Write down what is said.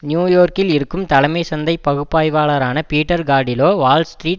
new யோர்க்கில் இருக்கும் தலைமை சந்தை பகுப்பாய்வளரான பீட்டர் கார்டிலோ வால்ஸ்ட்ரீட்